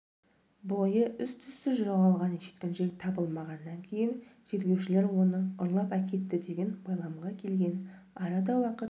бойы іс-түссіз жоғалған жеткіншек табылмағаннан кейін тергеушілер оны ұрлап әкетті деген байламға келген арада уақыт